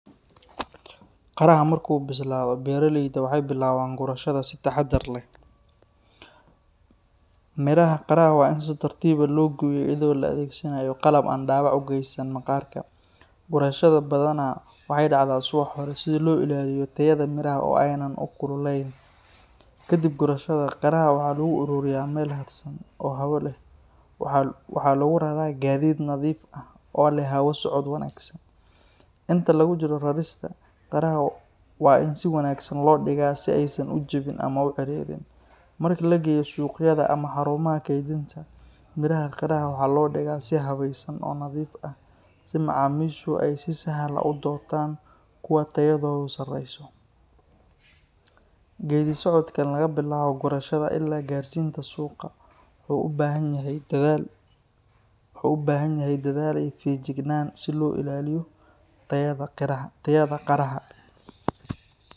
Qaraha marka uu bislado, beeraleyda waxay bilaabaan gurashada si taxaddar leh. Miraha qaraha waa in si tartiib ah loo gooyaa iyadoo la adeegsanayo qalab aan dhaawac u geysan maqaarka. Gurashada badanaa waxay dhacdaa subax hore si loo ilaaliyo tayada miraha oo aanay u kululeyn. Kadib gurashada, qaraha waxaa lagu ururiyaa meel hadhsan oo hawo leh. Waxaa lagu raraa gaadiid nadiif ah oo leh hawo socod wanaagsan. Inta lagu jiro rarista, qaraha waa in si wanaagsan loo dhigaa si aysan u jabin ama u ciirin. Marka la geeyo suuqyada ama xarumaha kaydinta, miraha qaraha waxaa loo dhigaa si habaysan oo nadiif ah si macaamiishu ay si sahal ah u doortaan kuwa tayadoodu sarreyso. Geeddi-socodkan laga bilaabo gurashada ilaa gaarsiinta suuqa wuxuu u baahan yahay dadaal iyo feejignaan si loo ilaaliyo tayada qaraha.